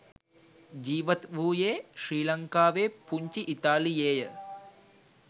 ජීවත් වූයේ ශ්‍රී ලංකාවේ පුංචි ඉතාලියේය.